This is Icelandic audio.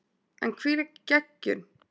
En hvílík geggjun!